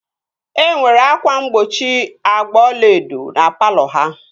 Enwere ákwà mgbochi agba ọlaedo na palọ ha